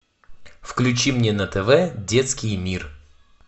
включи мне на тв детский мир